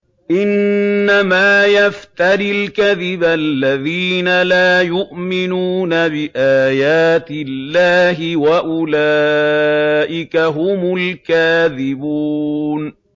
إِنَّمَا يَفْتَرِي الْكَذِبَ الَّذِينَ لَا يُؤْمِنُونَ بِآيَاتِ اللَّهِ ۖ وَأُولَٰئِكَ هُمُ الْكَاذِبُونَ